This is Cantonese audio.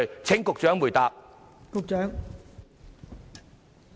請局長回答。